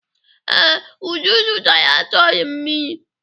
Ee, Uju zụtara tọị mmiri.